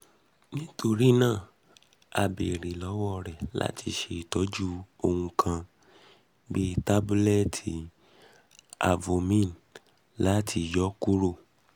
nitorina a beere lọwọ rẹ lati ṣe itọju ohun kan (bii tabulẹti avomine) lati um yọ kuro